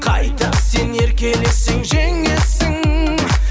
қайта сен еркелесең жеңесің